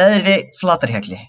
Neðri-Flatarhjalli